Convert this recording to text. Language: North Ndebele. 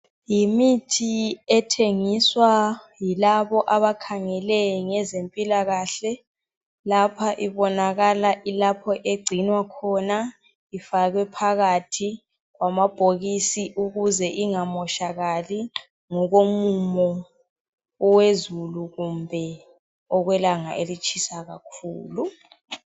Yimithi ethengiswa yilabo abakhangele ngezempilakahle .Lapha ibonakala ilapho egcinwa khona ifakwe phakathi kwamabhokisi .Ukuze ingamotshakali ngokomumo wezulu kumbe okwelanga elitshisa kakhulu.